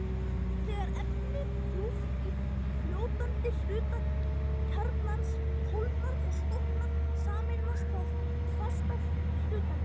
Þegar efni djúpt í fljótandi hluta kjarnans kólnar og storknar, sameinast það fasta hlutanum.